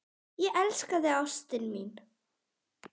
Ég elska þig, ástin mín.